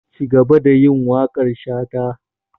Cigaba da yin waƙar shata!